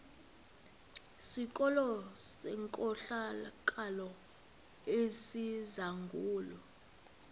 sikolo senkohlakalo esizangulwa